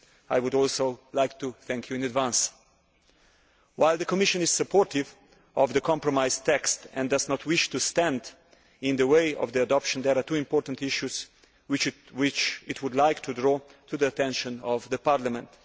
I would also like to thank you in advance. While the Commission is supportive of the compromise text and does not wish to stand in the way of its adoption, there are two important issues which it would like to draw to the attention of Parliament.